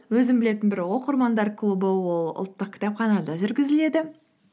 өзім білетін бір оқырмандар клубы ол ұлттық кітапханада жүргізіледі